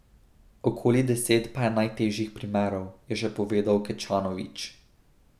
Okoli deset pa je najtežjih primerov, je še povedal Kečanović.